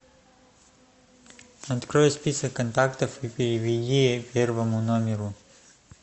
открой список контактов и переведи первому номеру